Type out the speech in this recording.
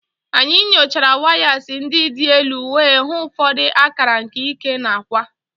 Anyị nyochara wires ndị dị n'elu wee hụ ụfọdụ akara nke ike na akwa.